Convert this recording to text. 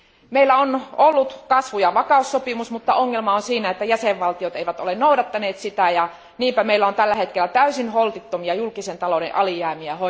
Meillä on ollut kasvu ja vakaussopimus, mutta ongelma on siinä, että jäsenvaltiot eivät ole noudattaneet sitä ja niinpä meillä on tällä hetkellä hoidettavana täysin holtittomia julkisen talouden alijäämiä.